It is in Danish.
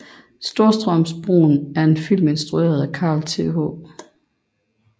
Storstrømsbroen er en film instrueret af Carl Th